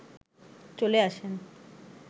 চলে আসেন